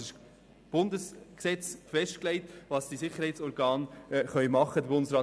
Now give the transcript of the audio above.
Das Bundesgesetz legt fest, was die Sicherheitsorgane machen dürfen.